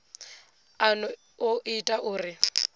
a no o ita uri